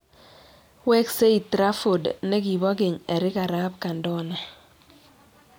Weksei traford nekiboo keny Erik arap kandona